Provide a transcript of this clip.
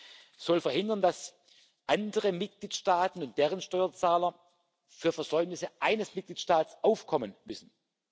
Dies soll verhindern, dass andere Mitgliedstaaten und deren Steuerzahler für Versäumnisse eines Mitgliedstaats aufkommen müssen.